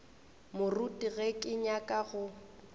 moruti ge ke nyaka go